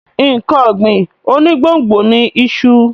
Nǹkan ọ̀gbìn onígbòǹgbò ni iṣu.